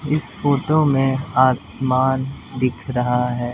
इस फोटो में आसमान दिख रहा है।